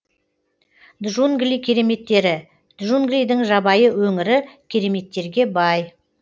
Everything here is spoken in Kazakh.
джунгли кереметтері джунглидің жабайы өңірі кереметтерге бай